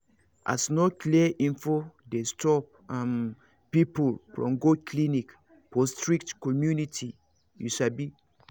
as no clear info dey stop um people from go clinic for strict community you sabi